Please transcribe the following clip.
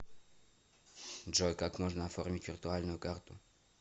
джой как можно оформить виртуальную карту